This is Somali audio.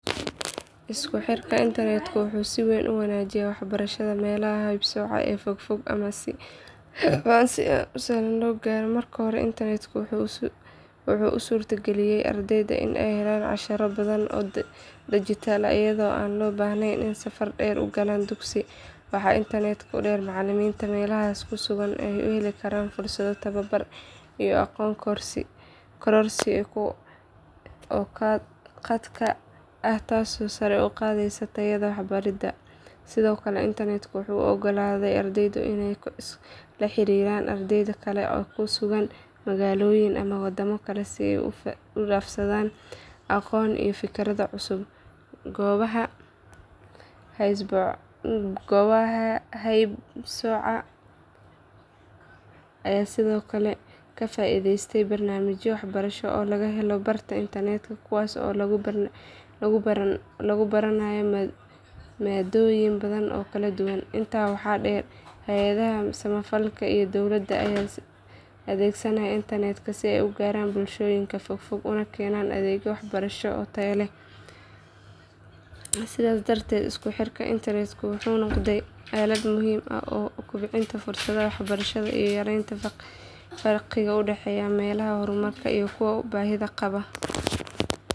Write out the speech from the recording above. Isku xirka internetku wuxuu si weyn u wanaajiyey waxbarashada meelaha haybsooco ee fogfog ama aan si sahlan loo gaarin. Marka hore internetku wuxuu u suurtageliyay ardayda inay helaan casharro badan oo dijitaal ah iyadoo aan loo baahnayn inay safar dheer u galaan dugsi. Waxaa intaa dheer in macallimiinta meelahaas ku sugan ay heli karaan fursado tababar iyo aqoon kororsi oo khadka ah taasoo sare u qaadaysa tayada waxbaridda. Sidoo kale internetku wuxuu u oggolaaday ardayda inay la xiriiraan arday kale oo ku sugan magaalooyin ama waddamo kale si ay u is dhaafsadaan aqoon iyo fikrado cusub. Goobaha haybsooco ayaa sidoo kale ka faa’iidaystay barnaamijyo waxbarasho oo laga helo barta internetka kuwaas oo lagu baranayo maadooyin badan oo kala duwan. Intaa waxaa dheer hay’adaha samafalka iyo dowladda ayaa adeegsanaya internetka si ay u gaaraan bulshooyinka fogfog una keenaan adeegyo waxbarasho oo tayo leh. Sidaas darteed isku xirka internetku wuxuu noqday aalad muhiim u ah kobcinta fursadaha waxbarasho iyo yareynta farqiga u dhexeeya meelaha horumarsan iyo kuwa baahida qaba.